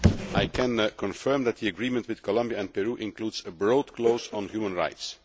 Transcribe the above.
I can confirm that the agreement with Colombia and Peru includes a broad clause on human rights.